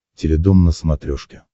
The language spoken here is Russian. теледом на смотрешке